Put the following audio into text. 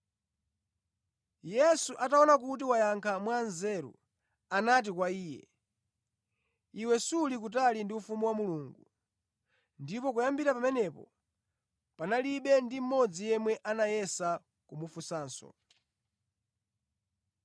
Yesu ataona kuti wayankha mwanzeru, anati kwa iye, “Iwe suli kutali ndi ufumu wa Mulungu.” Ndipo kuyambira pamenepo panalibe ndi mmodzi yemwe anayesa kumufunsanso.